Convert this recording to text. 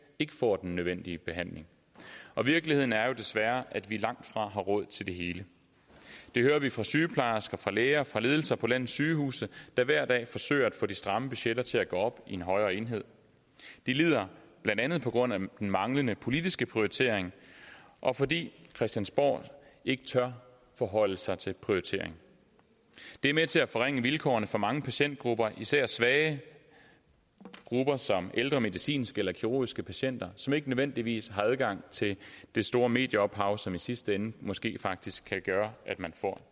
ikke får den nødvendige behandling og virkeligheden er jo desværre at vi langtfra har råd til det hele det hører vi fra sygeplejersker fra læger og fra ledelser på landets sygehuse der hver dag forsøger at få de stramme budgetter til at gå op i en højere enhed de lider blandt andet på grund af den manglende politiske prioritering og fordi christiansborg ikke tør forholde sig til prioritering det er med til at forringe vilkårene for mange patientgrupper især svage grupper som ældre medicinske eller kirurgiske patienter som ikke nødvendigvis har adgang til det store mediehav som i sidste ende måske faktisk kan gøre at man får